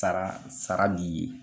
Sara sara b'i ye.